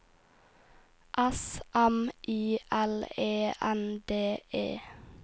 S M I L E N D E